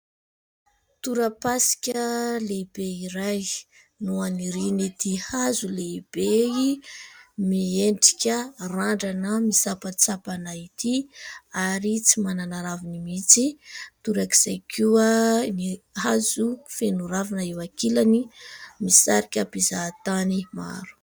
Torapasika lehibe iray no anirian'ity hazo lehibe miendrika randrana misampantsampana ity, ary tsy manana raviny mihitsy. Torak'izay koa ny hazo feno ravina eo ankilany, misarika mpizahatany maro.